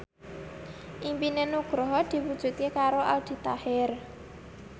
impine Nugroho diwujudke karo Aldi Taher